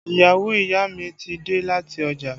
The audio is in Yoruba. Ìyàwó ìyá mi ti dé láti ọjà